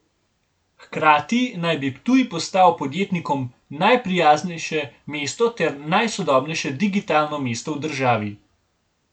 Hkrati naj bi Ptuj postal podjetnikom najprijaznejše mesto ter najsodobnejše digitalno mesto v državi.